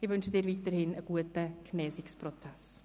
Ich wünsche ihm weiterhin einen guten Genesungsprozess.